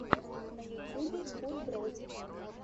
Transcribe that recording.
на ютьюбе футброз